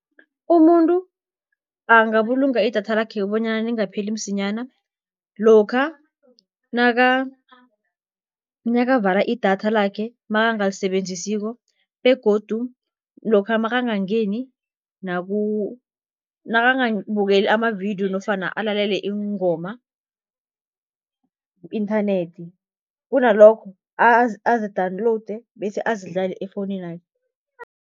Umuntu angabulunga idatha lakhe bonyana lingapheli msinyana, lokha nakavala idatha lakhe makangalisebenzisiko begodu lokha makangangeni, nakangabukeli amavidiyo nofana alalele iingoma ku-inthanethi, kunalokho azidawunlowude bese azidlale efowuninakhe.